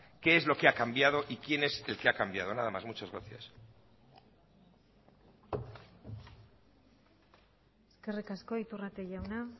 qué es lo que ha cambiado y quién es el que ha cambiado nada más muchas gracias eskerrik asko iturrate jauna